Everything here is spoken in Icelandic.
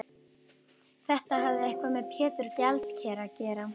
Þetta hafði eitthvað með Pétur gjaldkera að gera.